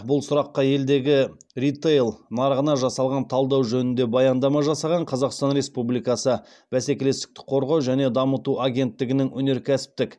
бұл сұраққа елдегі ритейл нарығына жасалған талдау жөнінде баяндама жасаған қазақстан республикасы бәсекелестікті қорғау және дамыту агенттігінің өнеркәсіптік